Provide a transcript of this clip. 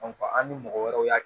an ni mɔgɔ wɛrɛw y'a